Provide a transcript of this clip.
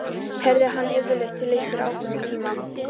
Heyrði hann yfirleitt til einhverjum ákveðnum tíma?